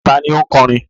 Ta ni ó ń kọrin?